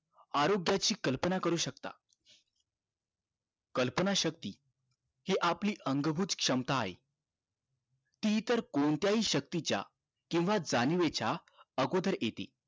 आरोग्याची कल्पना करू शकता कल्पना शक्ती हि आपली अंगभूज क्षमता आहे ती इतर कोणत्याही शक्तीच्या केंव्हा जाणिवेच्या अगोदर येते